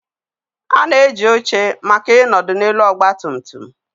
A na-eji oche maka ịnọdụ n'elu ọgba tum tum.